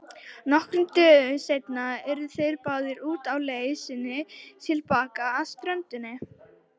Nokkrum dögum seinna urðu þeir báðir úti á leið sinni til baka að ströndinni.